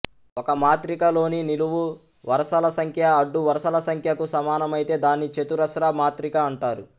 ఒక మాత్రికలోని నిలువు వరసల సంఖ్య అడ్డు వరసల సంఖ్యకు సమానమైతే దాన్ని చతురస్ర మాత్రిక అంటారు